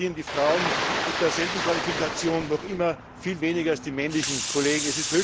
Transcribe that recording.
Dennoch verdienen Frauen mit derselben Qualifikation noch immer viel weniger als ihre männlichen Kollegen.